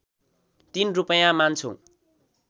३ रूपैयाँ मान्छौँ